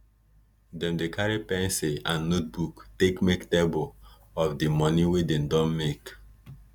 dem dey carry pencil and notebook take make table of di moni wey dem don make